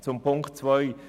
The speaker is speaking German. Zu Ziffer 2